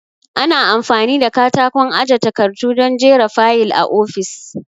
Ana amfani da katakon aje takardu don jera fayil a ofis